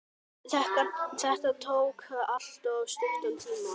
Þetta tók alltof stuttan tíma.